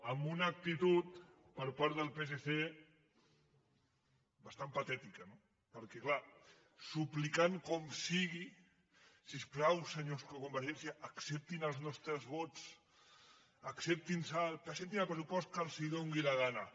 amb una actitud per part del psc bastant patètica no perquè clar suplicant com sigui si us plau senyors de convergència acceptin els nostres vots acceptin·los presentin el pressupost que els do·ni la gana